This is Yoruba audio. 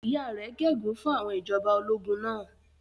Ìyá rẹ̀ gégùn-ún fún àwọn ìjọba ológun náà.